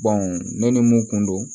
ne ni mun kun don